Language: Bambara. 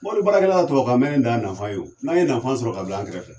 Mɔbili baarakɛla ye tubabukan mɛnni dan nafa ye o, n'an ye nafan sɔrɔ ka bila an kɛrɛfɛ.